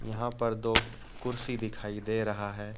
यहां पर दो कुर्सी दिखाई दे रहा है।